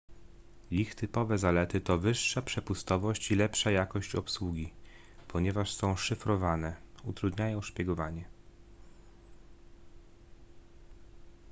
ich typowe zalety to wyższa przepustowość i lepsza jakość obsługi ponieważ są szyfrowane utrudniają szpiegowanie